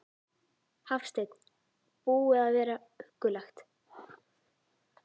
Hafsteinn: Búið að vera huggulegt?